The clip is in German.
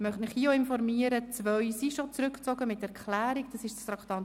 Ich möchte Sie hier informieren, dass schon zwei Vorstösse mit Erklärung zurückgezogen werden: